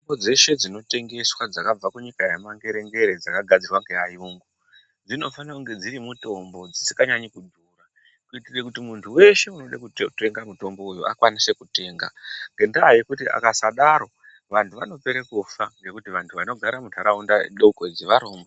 Mitombo dzeshe dzinotengeswa dzakabva kunyika yemangere ngere dzakagadzirwa nearungu dzinofanira kuva dziri mitombo dzisinganyanyi kudhura kuitira kuti muntu weshe anoda kutenga mutombo uyu akwanise kutenga ngenda yekuti akasadaro vantu vanopera kufa ngekuti vantu vanogara mundaraunda doko idzi varombo.